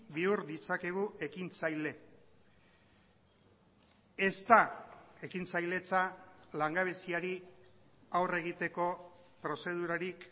bihur ditzakegu ekintzaile ez da ekintzailetza langabeziari aurre egiteko prozedurarik